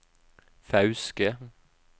Fauske